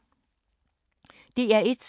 DR1